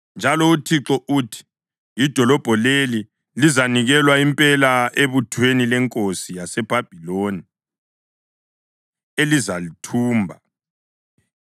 Njalo uThixo uthi: ‘Idolobho leli lizanikelwa impela ebuthweni lenkosi yaseBhabhiloni ezalithumba.’ ”